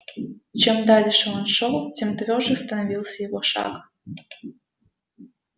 чем дальше он шёл тем твёрже становился его шаг